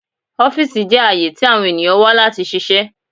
Ọfiisi jẹ aaye ti awọn eniyan wa lati ṣiṣẹ